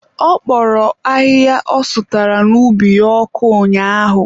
Ọ kpọrọ ahịhịa ọ sụtara n'ubi ya ọkụ ụnyaahụ.